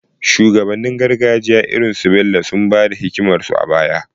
Shugabannin gargajiya irin su Bello sun ba da hikimarsu a baya